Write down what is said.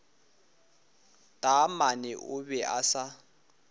taamane o be a sa